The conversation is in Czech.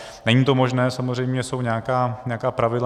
Není to možné, samozřejmě jsou nějaká pravidla.